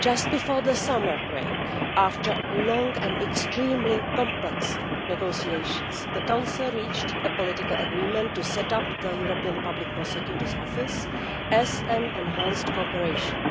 Just before the summer break, after long and extremely complex negotiations, the Council reached a political agreement to set up the European Public Prosecutor's Office as an enhanced cooperation,